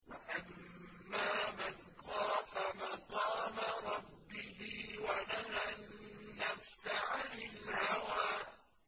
وَأَمَّا مَنْ خَافَ مَقَامَ رَبِّهِ وَنَهَى النَّفْسَ عَنِ الْهَوَىٰ